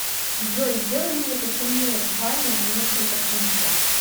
джой сделай мне потемнее в ванне на несколько пунктов